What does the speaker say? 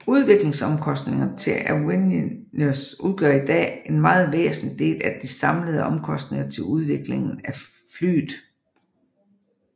Udviklingsomkostningerne til avionics udgør i dag en meget væsentlig del af de samlede omkosntinger til udviklingen af flyet